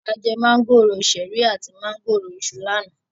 A jẹ mángòrò ṣẹ̀rí àti mángòrò Iṣu lánàá.